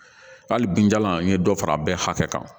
Hali binjalan in ye dɔ fara a bɛɛ hakɛ kan